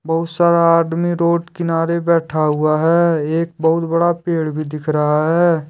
बहुत सारा आदमी रोड किनारे बैठा हुआ है एक बहुत बड़ा पेड़ भी दिख रहा है।